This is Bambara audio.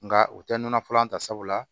Nka u tɛ nɔnɔ fɔlɔ an ta sabula